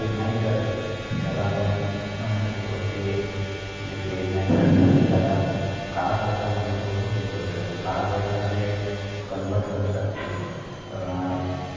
नाही करत त्याला आपण म्हणू शकतो ते ते जे paid नाही करत आणि त्याला काळापैशामध्ये तो हे करू शकतो काळापैसाला ते convert करतात अं